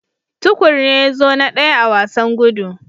Tukur ne ya zo na daya a wasan gudu.